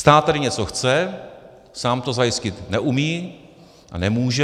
Stát tedy něco chce, sám to zajistit neumí a nemůže.